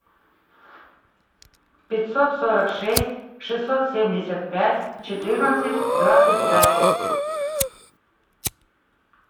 пятьсот сорок шесть шестьсот семьдесят пять четырнадцать двадцать пять